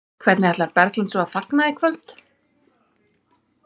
Hvernig ætlar Berglind svo að fagna í kvöld?